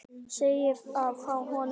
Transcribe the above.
Segið þá honum þessum.